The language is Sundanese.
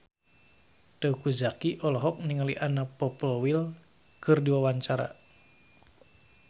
Teuku Zacky olohok ningali Anna Popplewell keur diwawancara